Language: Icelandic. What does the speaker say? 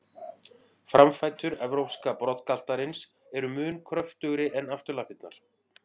Framfætur evrópska broddgaltarins eru mun kröftugri en afturlappirnar.